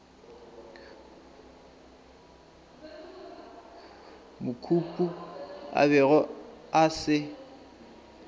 mokopu a bego a se